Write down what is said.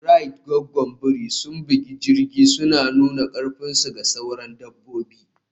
Rait Gwaggwan biri sun bugi kirji suna nuna karfinsu ga sauran dabbobi.